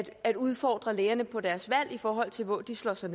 at udfordre lægerne på deres valg i forhold til hvor de slår sig